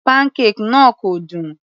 Pancake náà kò dùn.